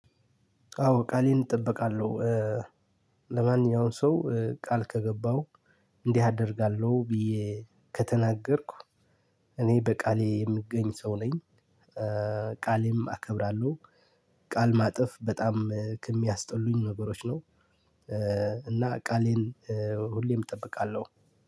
አዎ ቃሌን እጠብቃለሁ። ለማንኛውም ሰው ቃል ከገባው እንዲህ አደርጋለሁ ብዬ ከተናገርኩ እኔ በቃሌ የምገኝ ሰው ነኝ። ቃሌም አከብራለሁ። ቃል ማጠፍ በጣም ከምያስጠሉኝ ነገሮች ነው። እና ቃሌን ሁሌም እጠብቃለሁ።